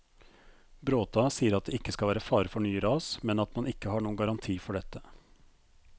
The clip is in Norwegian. Bråta sier at det ikke skal være fare for nye ras, men at man ikke har noen garanti for dette.